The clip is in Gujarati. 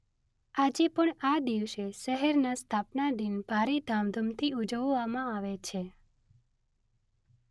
આજે પણ આ દિવસે શહેરના સ્થાપનાદિન ભારે ધામધૂમથી ઉજવવામાં આવે છે.